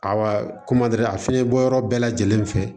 Awa a fiɲɛbɔ yɔrɔ bɛɛ lajɛlen fɛ